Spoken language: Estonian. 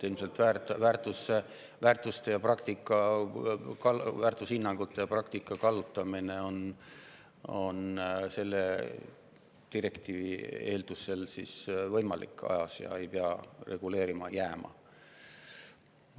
Ilmselt on väärtushinnangute ja praktika kallutamine selle direktiivi eeldusel ajas võimalik ja ei pea reguleerima jääma.